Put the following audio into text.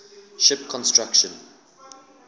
ship construction